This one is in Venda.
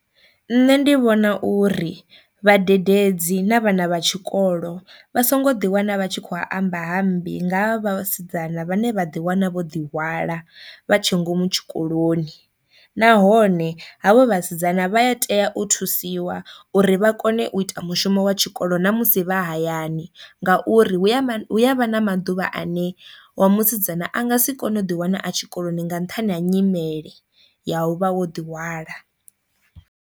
Nṋe ndi vhona uri vhadededzi na vhana vha tshikolo vha songo ḓi wana vha tshi kho amba ha mmbi nga ha vhasidzana vhane vha ḓi wana vho ḓi hwala vha tshe ngomu tshikoloni, nahone havho vhasidzana vha ya tea u thusiwa uri vha kone u ita mushumo wa tshikolo ṋamusi vha hayani ngauri hu ya hu avha na maḓuvha ane wa musidzana a nga si kone u ḓi wana a tshikoloni nga nṱhani ha nyimele ya u vha wo ḓi hwala.